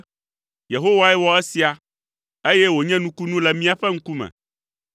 Yehowae wɔ esia, eye wònye nukunu le míaƒe ŋkume.